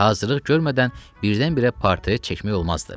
Hazırlıq görmədən birdən-birə portret çəkmək olmazdı.